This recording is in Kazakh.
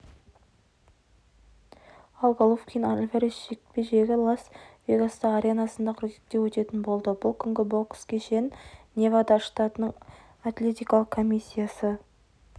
ал головкин-альварес жекпе-жегі лас-вегастағы аренасында қыркүйекте өтетін болды бұл күнгі бокс кешін невада штатының атлетикалық комиссиясы